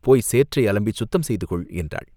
போய் சேற்றை அலம்பிச் சுத்தம் செய்துகொள்!" என்றாள்.